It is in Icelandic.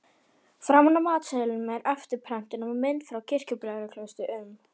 Framan á matseðlinum er eftirprentun af mynd frá Kirkjubæjarklaustri um